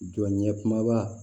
Jɔ ɲɛkuma ba